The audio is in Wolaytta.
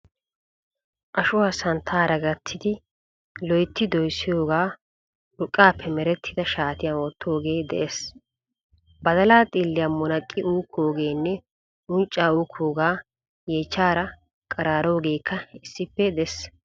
Ashuwaa santtaara gatti loyitti doyissidoogaa urqqaappe merettida shaatiyan wottoogee des. Badalaa xiilliya munaqqi uukkogenne uncca ukkoogaa yeechchaara qaraaroogeekka issippe des.